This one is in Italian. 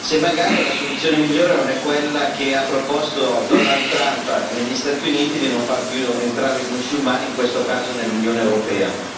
E poi le volevo anche chiedere se magari la soluzione migliore non è quella che ha proposto Donald Trump negli Stati Uniti di non far più entrare i musulmani, in questo caso nell'Unione europea.